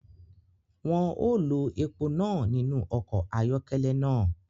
Wọn ọ lo èpo náà nínú ọkọ ayọkẹlẹ náà